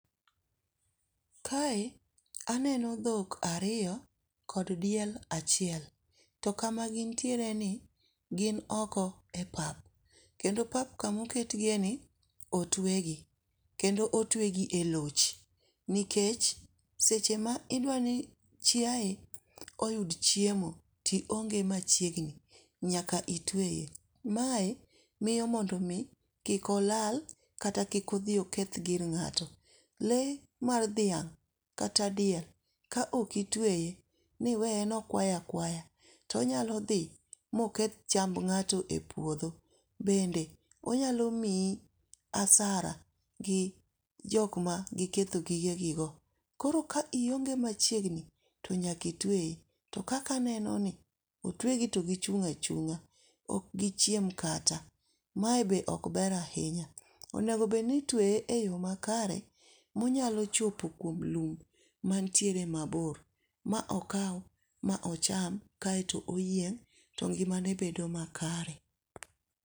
Kae aneno dhok ariyo kod diel achiel. To kama gintiereni gin oko e pap. Kendo pap kama oketgiyeni otuegi. Kendo otuegi e loch nikech seche ma idwa ni chiaye oyud chiemo, to ionge machiegni, nyaka itueye, mae miyo mondo mi ki olal kata kik odhi oketh gir ng'ato. Lee mar dhiang' kata diel kaok itueye ni iweyo no ikwayo akwaya, to onyalo dho oketh chamg ng'ato e puodho. Onyalo imyi asara gi jok ma gikethjo gige gigo. Koro ka ionge machiegmni to nyaka itueye to kaka anenoni otuegi to gichung' achung'a, ok gi chiem kata. Mae be ok ber ahinya. Onego bed ni itueye eyoo makare ma iónyalo chopo e lum mantiere mabor ma okaw ma ocham kae to oyieng' to ngimane bedo makare.